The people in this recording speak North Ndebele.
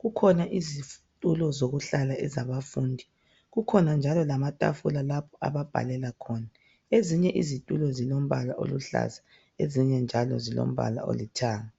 kukhona izitulo zokuhlala ezabafundi kukhona njalo kamatafula lapho ababhalela khona. Ezinye izitulo zilombala oluhlaza ezinye njalo zilombala olithanga.